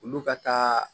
Olu ka taa